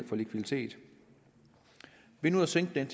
for likviditet ved nu at sænke den